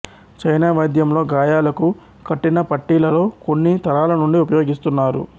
China వైద్యంలో గాయాలకు కట్టిన పట్టీలలో కొన్ని తరాలనుండి ఉపయోగిస్తున్నారు